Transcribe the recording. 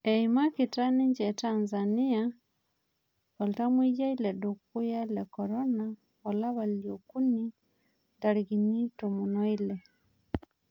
Eimakita ninje Tanzania oltamweyiai ledukuya lekorona olapa liokuni ntarikini tomon oile